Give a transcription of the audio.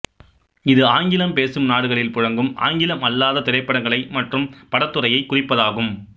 இது ஆங்கிலம் பேசும் நாடுகளில் புழங்கும் ஆங்கிலம் அல்லாத திரைப்படங்கள் மற்றும் படத்துறையை குறிப்பதாகும்